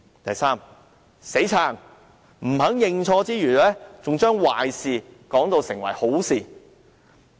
第三，"死撐"，不肯認錯之餘，還把壞事說成好事。